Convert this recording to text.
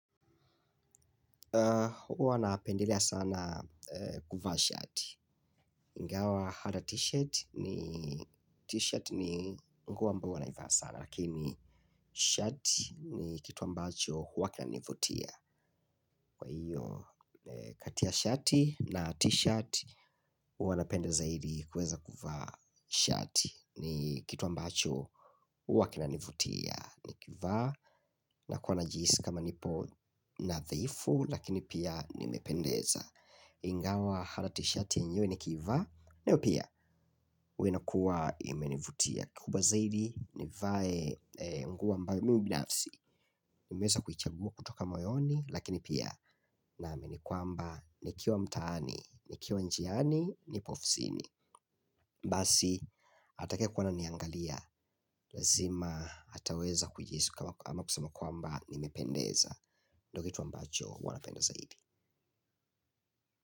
Huwa napendelea sana kuvaa shirt ingawa hata t-shirt ni t-shirt ni nguo ambayo huwa naivaa sana. Lakini shirt ni kitu ambacho huwa kina nivutia. Kwa hiyo kati ya shati na t-shirt huwa napenda zaidi kuweza kuvaa shirt ni kitu ambacho huwa kina nivutia. Nikivaa na kuwa najisi kama nipo nadhifu lakini pia nimependeza. Ingawa hata t shirt yenyewe niki ivaa nayo pia huwa inakuwa imenivutia kikubwa zaidi. Nivae nguo ambao mimi binafsi nimeweza kuichagua kutoka moyoni lakini pia naamini kwamba nikiwa mtaani nikiwa njiani nipo ofisini basi atakaye kuwa ana niangalia lazima ataweza kujihisi kama ama kusema kwamba nimependeza. Ndo kitu ambacho huwa napenda zaidi.